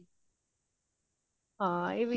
ਹਾਂ ਏਹ ਵੀ ਹੈ